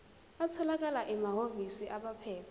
atholakala emahhovisi abaphethe